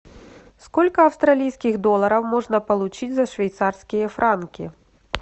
сколько австралийских долларов можно получить за швейцарские франки